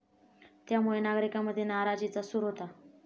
त्यामुळे नागरिकांमध्ये नाराजीचा सूर होता.